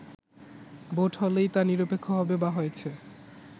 vote হলেই তা নিরপেক্ষ হবে বা হয়েছে